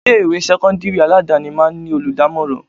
Ilé ìwé sẹ́kọ́ńdírì aládàáni máa ń ní olùdámọ̀ràn.